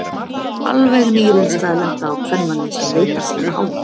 Alveg ný reynsla að lenda á kvenmanni sem leitar svona á hann.